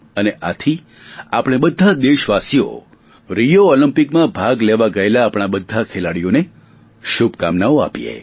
અને આથી આપણે બધા દેશવાસીઓ રિયો ઓલિમ્પિકમાં ભાગ લેવા ગયેલા આપણા બધા ખેલાડીઓને શુભકામનાઓ આપીએ